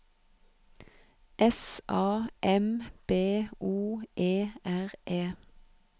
S A M B O E R E